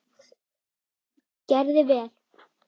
Gerði vel.